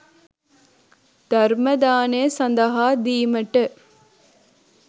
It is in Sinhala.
ධර්ම දානය සඳහා දීමට